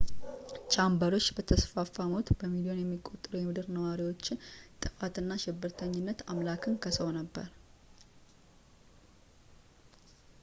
ቻምበርዎች በተስፋፋ ሞት ፣ በሚሊዮን የሚቆጠሩ የምድር ነዋሪዎችን ጥፋት እና ሽብርተኝነት” አምላክን ከሰው ነበር